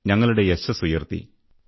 ഞങ്ങളുടെ യശസ്സ് ഉയർത്തി